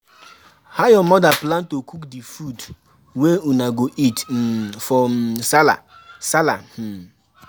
how your mother plan to cook di food wey una go eat um for um Sallah. Sallah. um